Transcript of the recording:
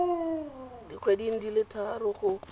dikgweding di le tharo go